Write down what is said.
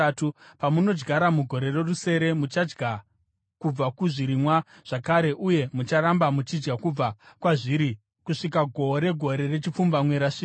Pamunenge muchidyara mugore rorusere muchadya kubva kuzvirimwa zvakare, uye mucharamba muchidya kubva kwazviri kusvika gohwo regore rechipfumbamwe rasvika.